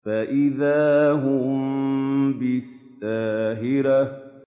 فَإِذَا هُم بِالسَّاهِرَةِ